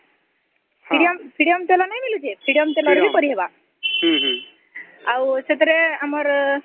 freedom ତେଲ ନାଇଁ ମିଲୁଛେ freedom ତେଲ ରେ ବି କରି ହବ